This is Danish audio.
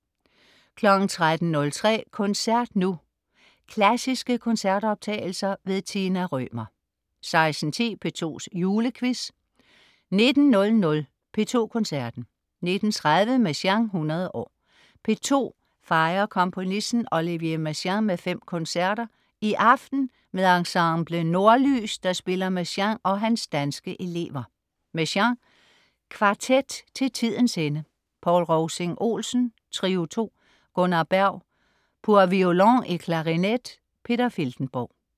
13.03 Koncert Nu. Klassiske koncertoptagelser. Tina Rømer 16.10 P2's Julequiz 19.00 P2 Koncerten. 19.30 Messiaen 100 år. P2 fejrer komponisten Olivier Messiaen med fem koncerter, i aften med Ensemble Nordlys, der spiller Messiaen og hans danske elever. Messiaen: Kvartet til tidens ende. Poul Rovsing Olsen: Trio II. Gunnar Berg: Pour Violon et clarinette. Peter Filtenborg